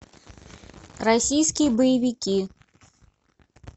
российские боевики